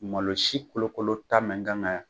Malo si kolokolo ta mɛn kanga